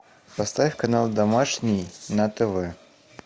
поставь канал домашний на тв